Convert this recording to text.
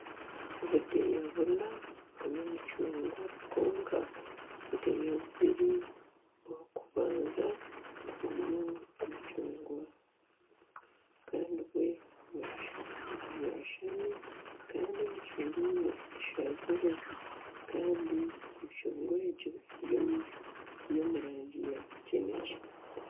Obudeeya buna burimu emicungwa kwonka obudeeya bubiri obukubanza burimu emicungwa Kandi bwe bwashami Kandi emicungwa emwe eshazire Kandi emicungwa egyo eri omu rangi ya kinekye.